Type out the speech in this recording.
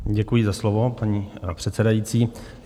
Děkuji za slovo, paní předsedající.